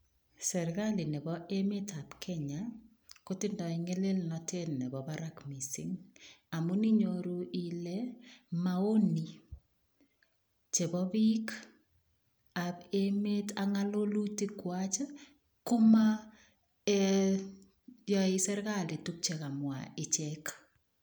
Serikali nebo emetab Kenya kotindoi ngelelnotet nebo barak mising, amun inyoru ilee mouni chebo biik ak ngololutikwak Komo yoe serikali tukuk chekamwa ichek.